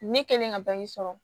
Ne kɛlen ka sɔrɔ